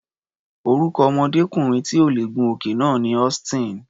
Orúkọ ọmọdékùnrin tí ò lè gun òkè náà ni Austin.